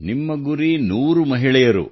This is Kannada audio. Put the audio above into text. ನಿಮ್ಮ ಗುರಿ 100 ಮಹಿಳೆಯರು